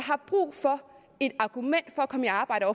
har brug for et argument for at komme i arbejde